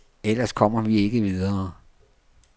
Ellers kommer vi ikke videre.